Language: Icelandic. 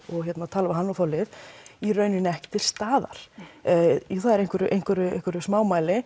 tala við hann og fá lyf í rauninni ekki til staðar það er í einhverju einhverju einhverju